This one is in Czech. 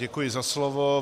Děkuji za slovo.